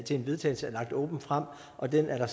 til en vedtagelse åbent frem og den har